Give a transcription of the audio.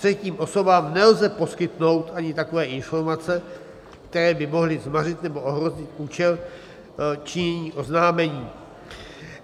Třetím osobám nelze poskytnout ani takové informace, které by mohly zmařit nebo ohrozit účel činění oznámení.